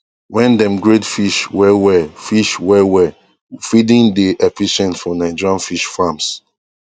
wen dem grade fish well well fish well well feeding dey efficient for nigerian fish farms